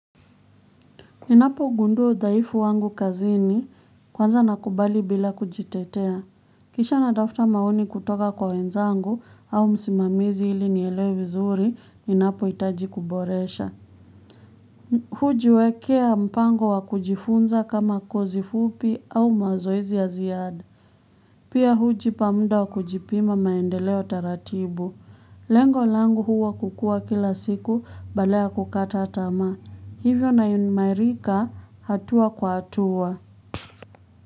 Ninapogundua udhaifu wangu kazini, kwanza nakubali bila kujitetea. Kisha natafuta maoni kutoka kwa wenzangu au msimamizi ili nielewe vizuri, ninapohitaji kuboresha. Hujiwekea mpango wa kujifunza kama kozi fupi au mazoezi ya ziada. Pia hujipa mda wa kujipima maendeleo taratibu. Lengo langu huwa kukua kila siku, badala ya kukata tamaa. Hivyo nainimairika hatua kwa hatua.